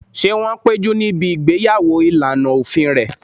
Ṣé wọ́n péjú níbi ìgbéyàwó ìlànà òfin rẹ̀?